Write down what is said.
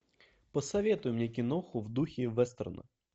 посоветуй мне киноху в духе вестерна